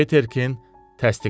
Peterkin təsdiqlədi.